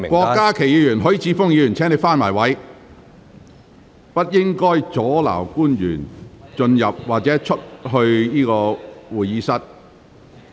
郭家麒議員和許智峯議員，請返回座位，不要阻礙官員進入或離開會議廳。